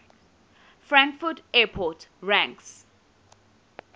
frankfurt airport ranks